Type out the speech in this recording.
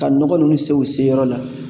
Ka nɔgɔ ninnu se u se yɔrɔ la.